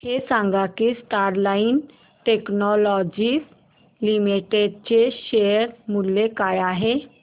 हे सांगा की स्टरलाइट टेक्नोलॉजीज लिमिटेड चे शेअर मूल्य काय आहे